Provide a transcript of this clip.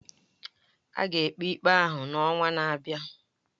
A ga-ekpe ikpe ahụ n'ọnwa na-abịa.